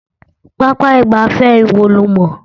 Pápá ìgbáfẹ́ wo lo mọ̀?